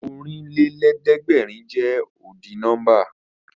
Ọ̀rìnlélẹ̀ẹ̀dẹ́gbèrin jẹ́ ọ́dì nọ́mbà